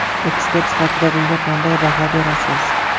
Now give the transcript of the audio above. Ekspert sifatida bunga qanday baho berasiz?